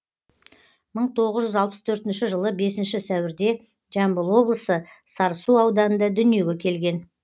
мың тоғыз жүз алпыс төртінші жылы бесінші сәуірде жамбыл облысы сарысу ауданында дүниеге келген